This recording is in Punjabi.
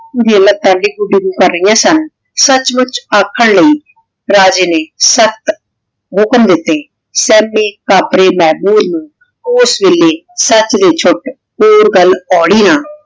ਸਚ ਮੁਚ ਆਖਾਂ ਲੈ ਰਾਜੇ ਨੇ ਸਖਤ ਹੁਕਮ ਦਿਤੇ ਹੋਰ ਗਲ ਕੋਈ ਨਾ